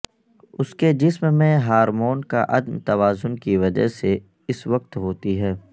اس کے جسم میں ہارمون کا عدم توازن کی وجہ سے اس وقت ہوتی ہے